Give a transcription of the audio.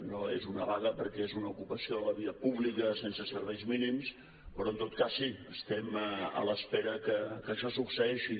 no és una vaga perquè és una ocupació de la via pública sense serveis mínims però en tot cas sí estem a l’espera que això succeeixi